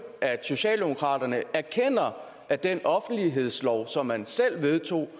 at socialdemokraterne erkender at den offentlighedslov som man selv vedtog